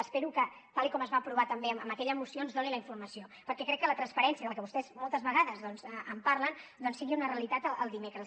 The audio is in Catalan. espero que tal com es va aprovar també amb aquella moció ens doni la informació perquè crec que la transparència de la qual vostès moltes vegades doncs parlen sigui una realitat el dimecres